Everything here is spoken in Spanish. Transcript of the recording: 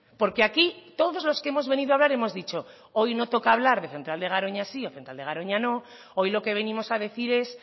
porque aquí todos los que hemos venido a hablar hemos dicho hoy no toca hablar de central de garoña sí o central de garoña no hoy lo que venimos a decir es